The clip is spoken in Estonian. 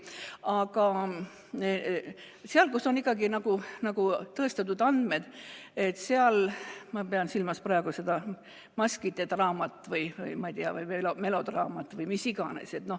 Aga seal on ikkagi nagu tõestatud andmed, ma pean silmas praegu seda maskide draamat või melodraamat või mida iganes.